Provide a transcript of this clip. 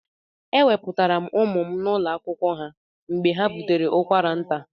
Eweputara m ụmụ m n'ụlọ akwụkwọ ha mgbe ha bụtere ụkwara nta.